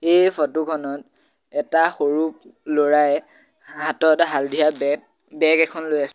এই ফটো খনত এটা সৰু ল'ৰাই হাতত হালধীয়া বেগ বেগ এখন লৈ আছে।